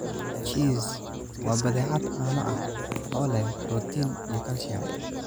Cheese: Waa badeecad caano ah oo leh borotiin iyo kaalshiyam.